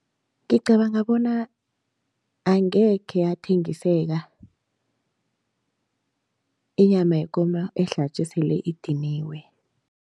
Ngicabanga bona angekhe yathengiseka inyama yekomo ehlatjwe sele idiniwe.